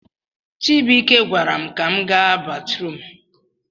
Chibuike gwaram ka m ga batrum